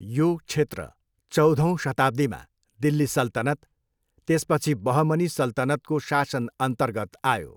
यो क्षेत्र चौधौँ शताब्दीमा दिल्ली सल्तनत, त्यसपछि बहमनी सल्तनतको शासनअन्तर्गत आयो।